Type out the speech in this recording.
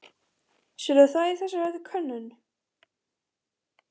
Sérð þú það í þessari könnun?